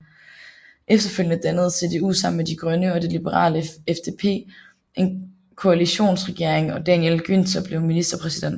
Efterfølgende dannede CDU sammen med De Grønne og det liberale FDP en koalitionsregering og Daniel Günther blev ministerpræsident